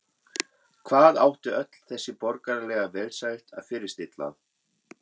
Hvað átti öll þessi borgaralega velsæld að fyrirstilla?